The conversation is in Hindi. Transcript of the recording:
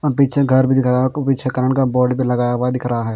और पीछे घर भी दिख रहा हैं आपको पीछे करंट का बोर्ड भी लगाया हुआ दिख रहा हैं।